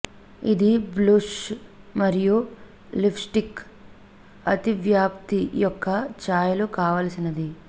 ఇది బ్లుష్ మరియు lipstick అతివ్యాప్తి యొక్క ఛాయలు కావాల్సినది